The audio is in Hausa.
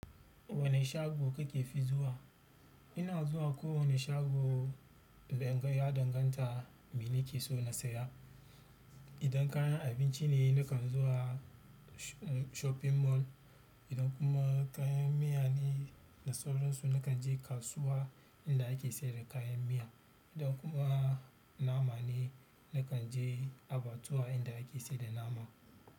Wane shago kake fi zuwa? Ina zuwa kowane shago inda inga ya danganta me nake so na saya. Idan kayan abinci ne nakan zuwa shopping mall, idan kuma kayan miya ne da sauran su nakan je kasuwa inda ake saida kayan miya idan kuma nama ne nakan je abatuwa inda ake sayar da nama.